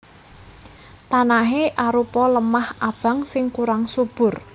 Tanahé arupa lemah abang sing kurang subur